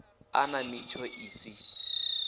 a nna mitsho i si